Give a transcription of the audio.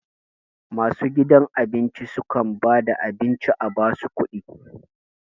Masu gidan abinci su kam ba da abin ci a ba su kuɗi